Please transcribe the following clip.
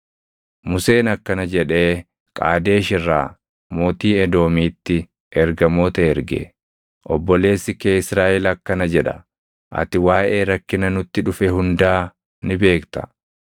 Museen akkana jedhee Qaadesh irraa mootii Edoomiitti ergamoota erge: “Obboleessi kee Israaʼel akkana jedha: Ati waaʼee rakkina nutti dhufe hundaa ni beekta.